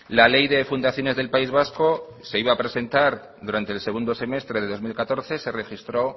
la ley de fundaciones del país vasco se iba a presentar durante el segundo semestre de dos mil catorce se registró